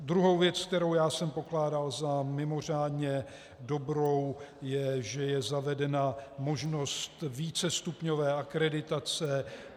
Druhou věcí, kterou já jsem pokládal za mimořádně dobrou, je, že je zavedena možnost vícestupňové akreditace.